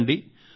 చూడండి